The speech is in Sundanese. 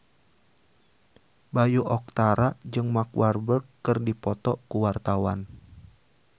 Bayu Octara jeung Mark Walberg keur dipoto ku wartawan